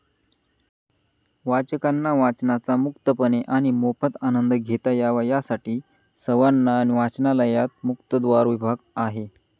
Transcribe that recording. वाचकांना वाचनाचा मुक्तपणे आणि मोफत आनंद घेता यावा यासाठी सवाना वाचनालयात मुक्तद्वार विभाग आहे.